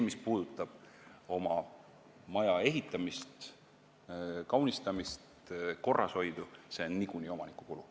Mis puudutab oma maja ehitamist, kaunistamist ja korrashoidu, siis see on niikuinii omaniku kulu.